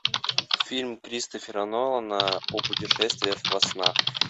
фильм кристофера нолана о путешествиях во снах